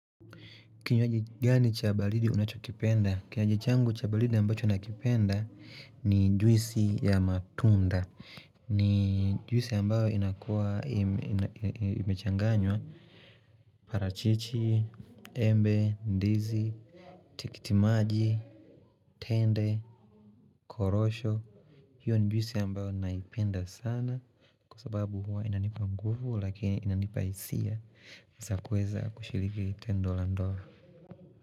Kinywaji gani cha baridi unachokipenda? Kinywaji changu cha baridi ambacho nakipenda ni juisi ya matunda. Ni juisi ambayo inakuwa imechanganywa. Parachichi, embe, ndizi, tikitimaji, tende, korosho. Hiyo ni juisi ambayo ninaipenda sana. Kwa sababu huwa inanipa nguvu lakini inanipa hisia. Naweza kuweza kushiriki tendo la ndoa.